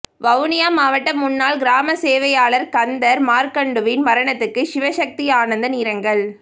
வவுனியா மாவட்ட முன்னாள் கிராமசேவையாளர் கந்தர் மார்கண்டுவின் மரணத்துக்கு சிவசக்தி ஆனந்தன் இரங்கல்